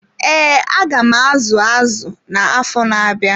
Ee, aga m azu azụ na-afọ na-abịa.